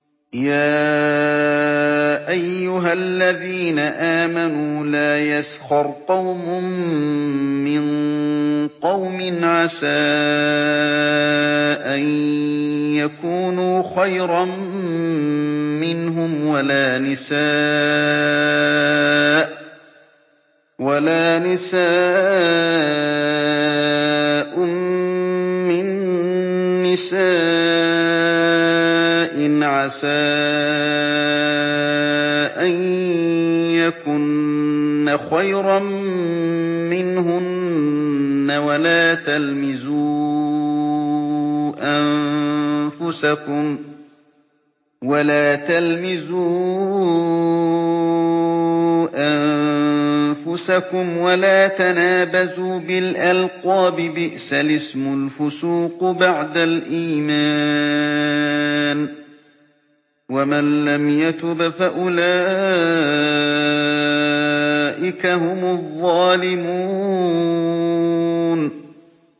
يَا أَيُّهَا الَّذِينَ آمَنُوا لَا يَسْخَرْ قَوْمٌ مِّن قَوْمٍ عَسَىٰ أَن يَكُونُوا خَيْرًا مِّنْهُمْ وَلَا نِسَاءٌ مِّن نِّسَاءٍ عَسَىٰ أَن يَكُنَّ خَيْرًا مِّنْهُنَّ ۖ وَلَا تَلْمِزُوا أَنفُسَكُمْ وَلَا تَنَابَزُوا بِالْأَلْقَابِ ۖ بِئْسَ الِاسْمُ الْفُسُوقُ بَعْدَ الْإِيمَانِ ۚ وَمَن لَّمْ يَتُبْ فَأُولَٰئِكَ هُمُ الظَّالِمُونَ